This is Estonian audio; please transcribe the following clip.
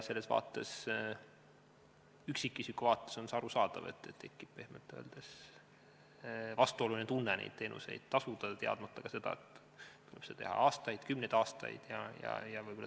Üksikisiku vaates on arusaadav, et tekib pehmelt öeldes vastuoluline tunne neid teenuseid tasuda, teadmata seejuures, kas seda tuleb teha aastaid või kümneid aastaid.